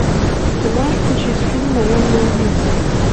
ты можешь включить фильм наемный убийца